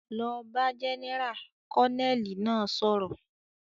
"Lọ bá Jẹ́nẹ́rà!", Kọ́nẹ́ẹ̀lì náà sọ̀rọ̀